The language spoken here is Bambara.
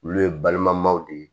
Olu ye balima maw de ye